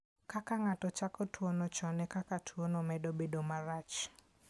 Kaka ng'ato chako tuwono chon, e kaka tuwono medo bedo marach.